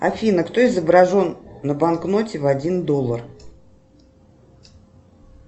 афина кто изображен на банкноте в один доллар